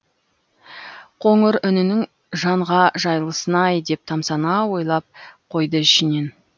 қоңыр үнінің жанға жайлысын ай деп тамсана ойлап қойды ішінен